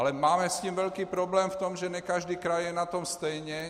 Ale máme s tím velký problém v tom, že ne každý kraj je na tom stejně.